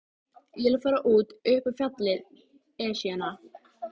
Ég vil fara út upp á fjallið, Esjuna.